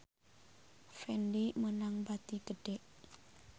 Fendi meunang bati gede